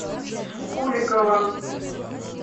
куликова